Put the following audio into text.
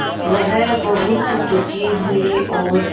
वह बहुत दुखी हुए और